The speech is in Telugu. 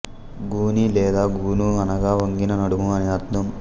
గూని లేదా గూను అనగా వంగిన నడుము అని అర్థం